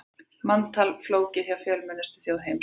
Manntal flókið hjá fjölmennustu þjóð heims